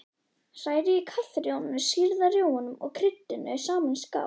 Hrærið kaffirjómanum, sýrða rjómanum og kryddinu saman í skál.